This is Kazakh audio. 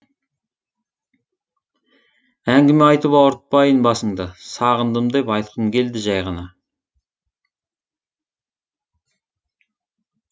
әңгіме айтып ауыртпайын басыңды сағындым деп айтқым келді жай ғана